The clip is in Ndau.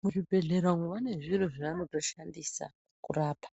Muzvibhedhlera umu vane zviro zvavanotoshandisa kurapa